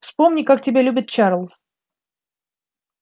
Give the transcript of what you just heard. вспомни как тебя любит чарлз